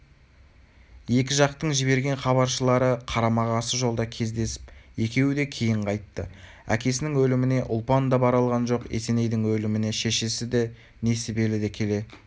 екі жақтың жіберген хабаршылары қарама-қарсы жолда кездесіп екеуі де кейін қайтты әкесінің өліміне ұлпан да бара алған жоқ есенейдің өліміне шешесі несібелі де келе